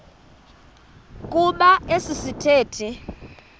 kuba esi sithethe